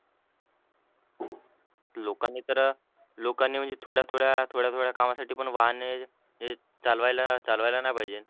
लोकांनी तर लोकांनी म्हणजे थोड्या थोड्या कामासाठी पण वाहने हे चालवायला चालवायला नाही पाहिजे.